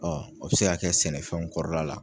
Ɔ o be se k'a kɛ sɛnɛfɛnw kɔrɔla la